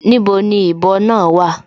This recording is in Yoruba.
Níbo ni ìbọ náà wà?